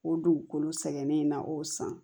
O dugukolo sɛgɛnnen na o san